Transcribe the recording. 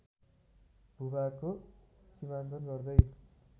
भूभागको सिमाङ्कन गर्दै